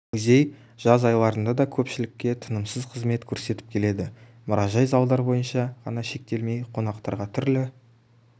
музей жаз айларында да көпшілікке тынымсыз қызмет көрсетіп келеді мұражай залдар бойынша ғана шектелмей қонақтарға түрлі